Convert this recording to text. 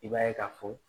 I b'a ye ka fɔ